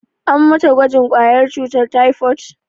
An mata gwajin ƙwayar cutar taifot?